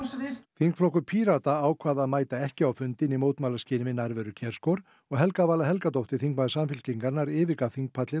þingflokkur Pírata ákvað að mæta ekki á fundinn í mótmælaskyni við nærveru og Helga Vala Helgadóttir þingmaður Samfylkingarinnar yfirgaf